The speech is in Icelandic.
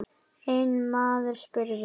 Einn maður spurði